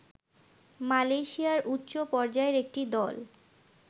মালয়েশিয়ার উচ্চপর্যায়ের একটি দল